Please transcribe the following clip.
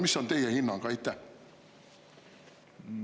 Mis on teie hinnang?